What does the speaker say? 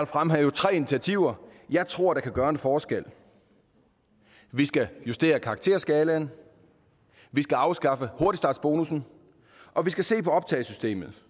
fremhæve tre initiativer jeg tror kan gøre en forskel vi skal justere karakterskalaen vi skal afskaffe hurtigstartsbonussen og vi skal se på optagesystemet